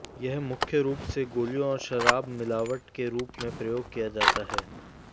यह मुख्य रूप से गोलियों और शराब मिलावट के रूप में प्रयोग किया जाता है